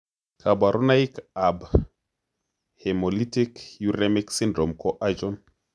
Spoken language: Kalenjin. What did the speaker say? Kaborunoik ab hemolytic uremic syndrome ko achon?